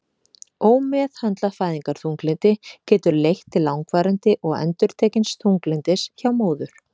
Ómeðhöndlað fæðingarþunglyndi getur leitt til langvarandi og endurtekins þunglyndis hjá móður.